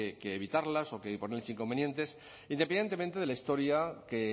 que evitarlas o ponerles inconvenientes independientemente de la historia que